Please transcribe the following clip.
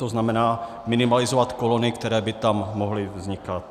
To znamená, minimalizovat kolony, které by tam mohly vznikat.